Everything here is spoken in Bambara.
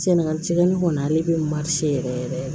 Sɛnɛgali tɛgɛni kɔni ale bɛ yɛrɛ yɛrɛ